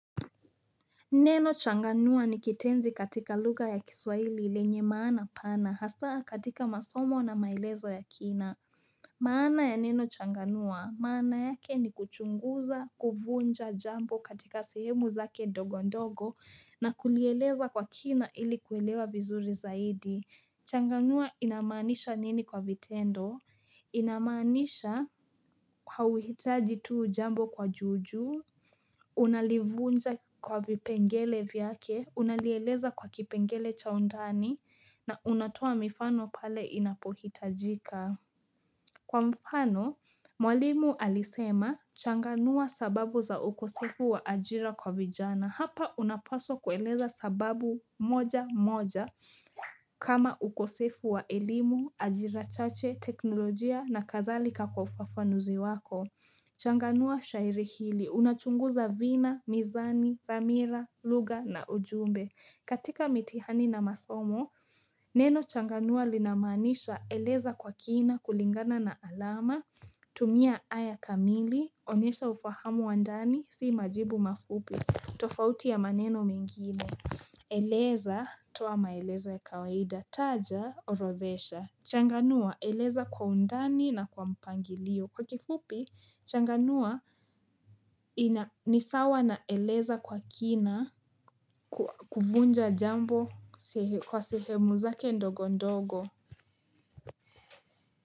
Neno changanua ni kitenzi katika lugha ya kiswahili lenye maana pana hasa katika masomo na maelezo ya kina maana ya neno changanua maana yake ni kuchunguza kuvunja jambo katika sehemu zake ndogo ndogo na kulielewa kwa kina ili kuelewa vizuri zaidi Changanua inamanisha nini kwa vitendo inamanisha halitaji tu jambo kwa juu juu Unalivunja kwa vipengele vyake, unalieleza kwa kipengele cha undani na unatoa mifano pale inapohitajika Kwa mfano, mwalimu alisema changanua sababu za ukosefu wa ajira kwa vijana Hapa unapaswa kueleza sababu moja moja kama ukosefu wa elimu, ajira chache, teknolojia na kadhalika kwa ufafanuzi wako Changanua shairi hili, unachunguza vina, mizani, dhamira, lugha na ujumbe katika mitihani na masomo, neno changanua linamanisha eleza kwa kina kulingana na alama tumia haya kamili, onyesha ufahamu wa ndani, si majibu mafupi, tofauti ya maneno mengine Eleza, toa maelezo ya kawaida, taja, orodhesha Changanua eleza kwa undani na kwa mpangilio. Kwa kifupi, Changanua ni sawa na eleza kwa kina kuvunja jambo kwa sehemu zake ndogo ndogo.